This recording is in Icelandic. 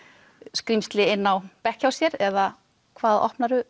skrímsli inn á bekk hjá sér eða hvað